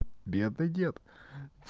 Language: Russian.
бедный дед